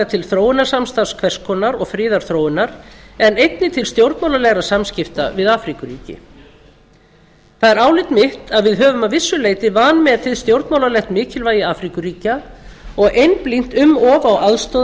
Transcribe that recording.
til þróunarsamstarfs hvers konar og friðarþróunar en einnig til stjórnmálalegra samskipta við afríkuríki það er álit mitt að við höfum að vissu leyti vanmetið stjórnmálalegt mikilvægi afríkuríkja og einblínt um of